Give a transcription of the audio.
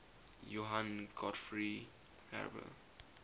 johann gottfried herder